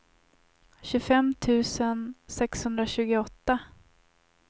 tjugofem tusen sexhundratjugoåtta